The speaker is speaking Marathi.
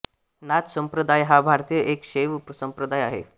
नाथ संप्रदाय हा भारतातील एक शैव संप्रदाय आहे